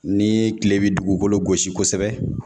Ni kile bi dugukolo gosi kosɛbɛ